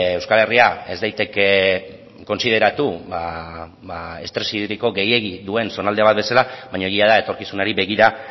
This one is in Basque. euskal herria ez daiteke kontsideratu ba estres hidriko gehiegi duen zonalde bat bezala baina egia da etorkizunari begira